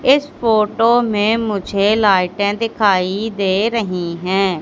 इस फोटो में मुझे लाइटे दिखाई दे रही हैं।